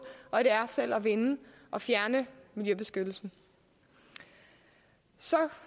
og det er selv at vinde og fjerne miljøbeskyttelsen så